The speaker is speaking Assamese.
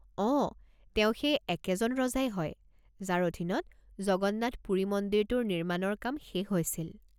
অঁ, তেওঁ সেই একেজন ৰজাই হয় যাৰ অধীনত জগন্নাথ পুৰী মন্দিৰটোৰ নিৰ্মাণৰ কাম শেষ হৈছিল।